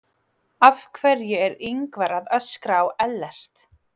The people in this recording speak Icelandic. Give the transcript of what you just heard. Af hverju er Ingvar að öskra á Ellert?